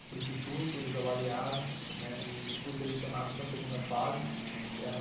para o instituto, eles avaliaram, né, e fui selecionado para a segunda fase e eram